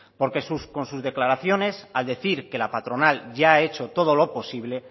porque con sus declaraciones al decir que la patronal ya ha hecho todo lo posible